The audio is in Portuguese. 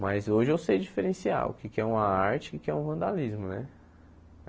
Mas hoje eu sei diferenciar o que é que é uma arte e o que é que é um vandalismo, né?